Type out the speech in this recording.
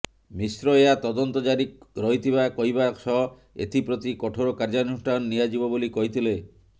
ମିଶ୍ର ଏହା ତଦନ୍ତ ଜାରି ରହିଥିବା କହିବା ସହ ଏଥିପ୍ରତି କଠୋର କାର୍ଯ୍ୟାନୁଷ୍ଠାନ ନିଆଯିବ ବୋଲି କହିଥିଲେ